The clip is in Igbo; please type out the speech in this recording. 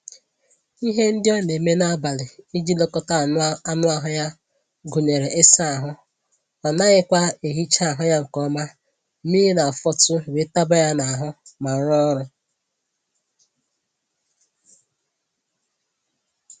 Ihe ndị ọ na-eme n'ablị iji lekọta anụ ahụ ya gụnyere ịsa ahụ, ọ naghịkwa ehicha ahụ ya nke ọma mmiri na-afọtụ wee taba ya n'ahụ ma rụọ ọrụ